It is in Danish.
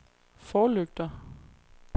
forlygter